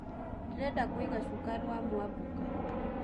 ndĩrenda kuĩga shuka rwa mwabuka